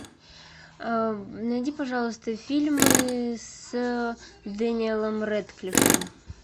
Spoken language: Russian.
найди пожалуйста фильмы с дэниелом рэдклиффом